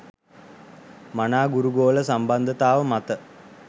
මනා ගුරු ගෝල සම්බන්ධතාව මත